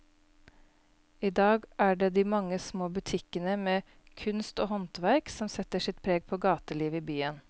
I dag er det de mange små butikkene med kunst og håndverk som setter sitt preg på gatelivet i byen.